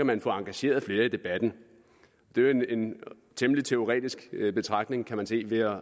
man få engageret flere i debatten det er jo en temmelig teoretisk betragtning kan man se ved